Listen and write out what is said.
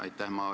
Aitäh!